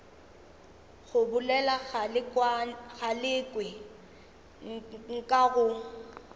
go bolela galekwe nka go